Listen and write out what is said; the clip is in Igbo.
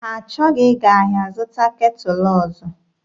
Ha achọghị ịga ahịa zụta ketụlụ ọzọ.